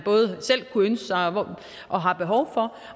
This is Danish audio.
selv kunne ønske sig og og har behov for